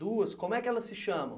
duas, como é que elas se chamam?